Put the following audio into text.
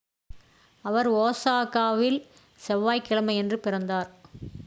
அவர் ஒசாகாவில் செவ்வாய் கிழமையன்று இறந்தார்